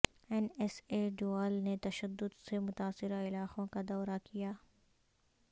N ایس اے ڈووال نے تشدد سے متاثرہ علاقوں کا دورہ کیا